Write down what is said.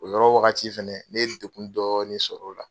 O yɔrɔ wagati fɛnɛ ne ye degun dɔɔni sɔrɔla o la.